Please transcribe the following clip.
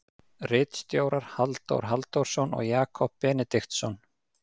Ritstjórar Halldór Halldórsson og Jakob Benediktsson.